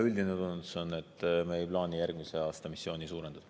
Üldine tunnetus on, et me ei plaani järgmisel aastal missiooni suurendada.